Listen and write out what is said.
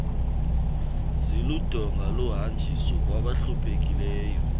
ziludonga lohanjiso kwabahluphekileyo